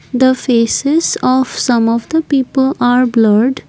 the faces of some of the people are blurred.